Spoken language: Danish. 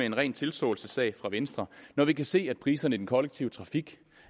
en ren tilståelsessag for venstre når vi kan se at priserne i den kollektive trafik